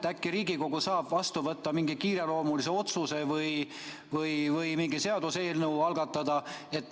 Äkki Riigikogu saab vastu võtta mingi kiireloomulise otsuse või algatada mingi seaduseelnõu.